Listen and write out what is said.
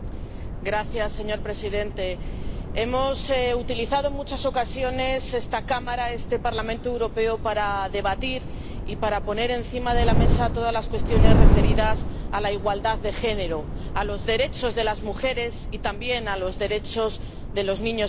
Señor presidente, hemos utilizado en muchas ocasiones esta Cámara, este Parlamento Europeo, para debatir y para poner encima de la mesa todas las cuestiones referidas a la igualdad de género, a los derechos de las mujeres y también a los derechos de los niños y las niñas.